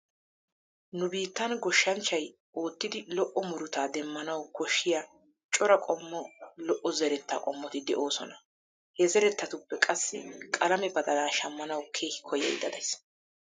Nu biittan goshshanchchay oottidi lo''o murutaa demmanawu koshshiya cora qommo lo''o zeretta qommoti de'oosona. He zerettatuppe qassi qalame badalaa shammanawu keehi koyyaydda days.